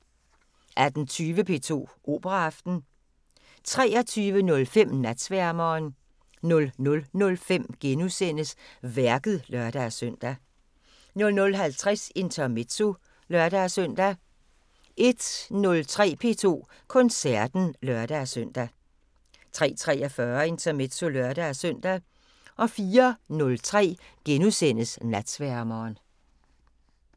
19:20: P2 Operaaften 23:05: Natsværmeren 00:05: Værket *(lør-søn) 00:50: Intermezzo (lør-søn) 01:03: P2 Koncerten (lør-søn) 03:43: Intermezzo (lør-søn) 04:03: Natsværmeren *